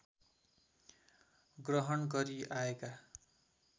ग्रहण गरी आएका